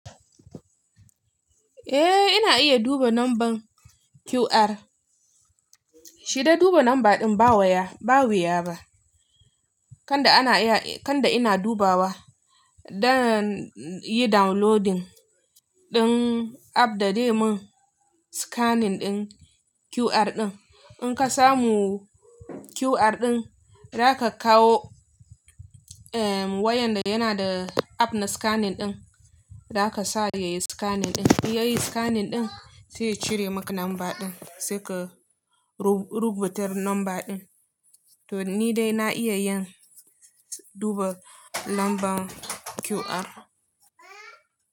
Eh, ina iya duba lambar QR. Shi dai duba lamba ɗin ba wuya ba. Kanda ina dubawa don yi downloading ɗin app da dai mun scanning ɗin QR ɗin. In ka samu QR ɗin, za ka kawo wayan da yana da app na scanning ɗin, za ka sa ya yi scanning ɗin. Ya yi scanning ɗin zai cire maka lamba ɗin, sai ka rubuta lamba ɗin. To ni dai na iya duba lambar QR.